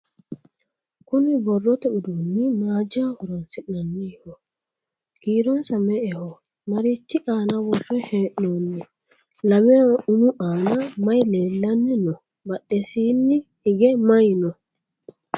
kuni borrote uduunni maajho horonsi'nanniho? kiironsa me"eho? marichi aana worre hee'noonniho? lameho umu aana maye leellanni no? badhesiini hige maye no?